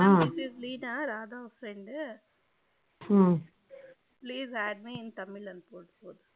mam this is Leena Radhas friend please add me in tamil